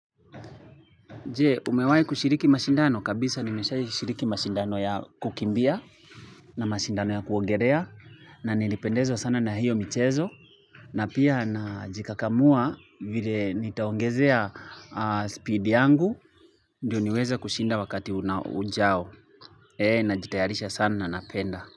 Je umewahi kushiriki mashindano? Kabisa nimeshaishiriki mashindano ya kukimbia na mashindano ya kuongelea na nilipendezwa sana na hiyo michezo na pia najikakamua vile nitaongezea speed yangu ndio niweze kushinda wakati ujao najitayarisha sana na napenda.